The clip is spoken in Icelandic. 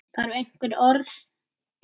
Þarf einhver orð?